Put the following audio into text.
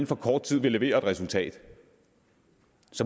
for kort tid vil levere et resultat